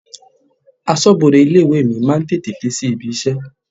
Aṣọbode ilé-ìwé mi máa ń tètè dé sí ibi-iṣẹ́.